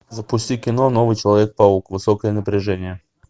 запусти кино новый человек паук высокое напряжение